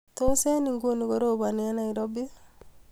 Tos, eng nguni korobani eng Nairobi